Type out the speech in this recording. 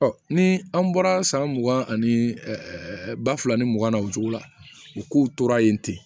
Ɔ ni an bɔra san mugan ani ba fila ni mugan na o cogo la u k'u tora yen ten